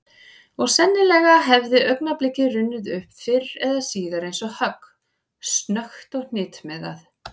Og sennilega hefði augnablikið runnið upp fyrr eða síðar eins og högg, snöggt og hnitmiðað.